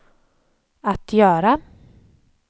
att göra